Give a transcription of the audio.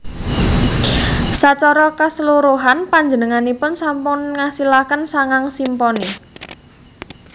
Sacara kaseluruhan panjenenganipun sampun ngasilaken sangang simponi